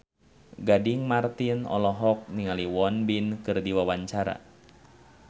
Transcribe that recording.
Gading Marten olohok ningali Won Bin keur diwawancara